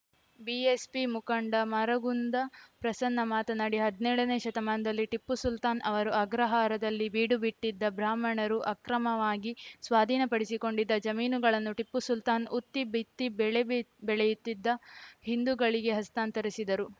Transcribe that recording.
BSP ಮುಖಂಡ ಮರಗುಂದ ಪ್ರಸನ್ನ ಮಾತನಾಡಿ ಹದ್ನೇಳನೇ ಶತಮಾನದಲ್ಲಿ ಟಿಪ್ಪು ಸುಲ್ತಾನ್‌ ಅವರು ಅಗ್ರಹಾರದಲ್ಲಿ ಬೀಡುಬಿಟ್ಟಿದ್ದ ಬ್ರಾಹ್ಮಣರು ಅಕ್ರಮವಾಗಿ ಸ್ವಾದೀನಪಡಿಸಿಕೊಂಡಿದ್ದ ಜಮೀನುಗಳನ್ನು ಟಿಪ್ಪು ಸುಲ್ತಾನ್‌ ಉತ್ತಿ ಬಿತ್ತಿ ಬೆಳೆ ಬೆಳೆಯುತ್ತಿದ್ದ ಹಿಂದುಗಳಿಗೆ ಹಸ್ತಾಂತರಿಸಿದರು